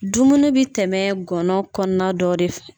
Dumuni bɛ tɛmɛ gɔnɔ kɔnɔna dɔ de fɛ.